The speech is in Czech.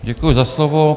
Děkuji za slovo.